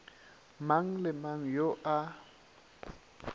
mang le mang yo a